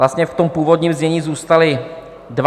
Vlastně v tom původním znění zůstaly dva.